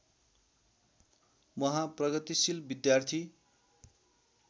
उहाँ प्रगतिशील विद्यार्थी